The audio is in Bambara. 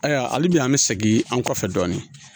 Ayiwa hali bi an bi segin an kɔfɛ dɔɔnin